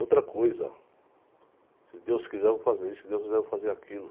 Outra coisa, se Deus quiser eu vou fazer isso, se Deus quiser eu vou fazer aquilo.